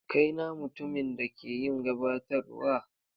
Kai na mutumin da ke yin gabatarwa?